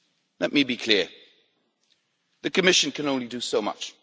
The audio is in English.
Let me be clear the Commission can only do so much.